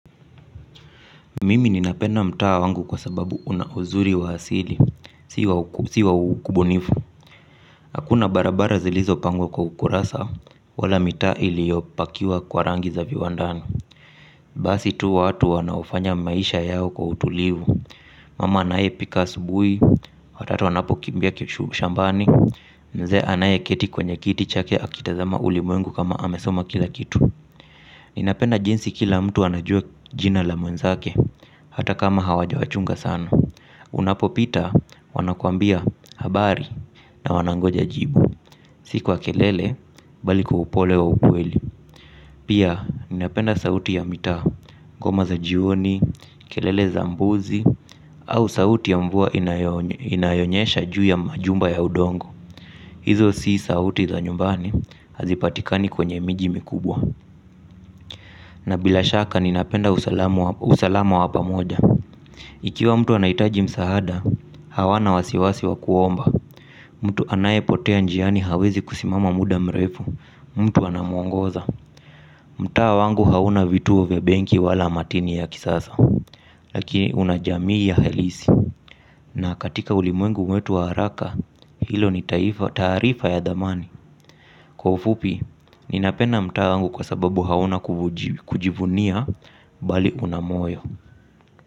Mimi ninapenda mtaa wangu kwa sababu una uzuri wa asili, si wa ubunifu. Hakuna barabara zilizopangwa kwa ukurasa, wala mita iliopakiwa kwa rangi za viwandani. Basi tu watu wanaofanya maisha yao kwa utulivu mama anayepika asubuhi watoto wanapokimbia shambani mzee anayeketi kwenye kiti chake akitazama ulimwengu kama amesoma kila kitu. Ninapenda jinsi kila mtu anajua jina la mwenzake, hata kama hawajawachunga sana. Unapopita wanakuambia habari na wanangoja jibu, si kwa kelele bali kwa upole wa ukweli. Pia ninapenda sauti ya mitaa, ngoma za jioni, kelele za mbuzi, au sauti ya mvua inayonyesha juu ya majumba ya udongo. Hizo si sauti za nyumbani hazipatikani kwenye miji mikubwa. Na bila shaka ninapenda usalama wa pamoja. Ikiwa mtu anahitaji msaada, hawana wasiwasi wa kuomba. Mtu anayepotea njiani hawezi kusimama muda mrefu. Mtu anamwongoza. Mtaa wangu hauna vituo vya benki wala matini ya kisasa. Lakini una jamii ya halisi. Na katika ulimwengu wetu wa haraka, hilo ni taarifa ya dhamani. Kwa ufupi, ninapenda mtaa wangu kwa sababu hauna kujivunia bali una moyo.